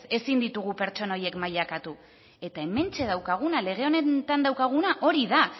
ezin ditugu pertsona horiek mailakatu eta hementxe daukaguna lege honetan daukaguna hori da